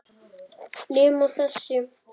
Nema þessi.